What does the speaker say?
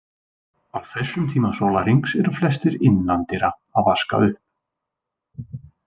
Á þessum tíma sólarhringsins eru flestir innan dyra að vaska upp.